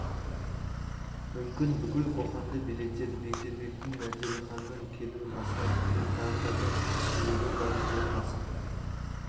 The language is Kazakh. мүмкін бүкіл қоқанды билетер бегдербектің мәделіханның келуін асыға күткен тағы да бір себебі бар ол қасым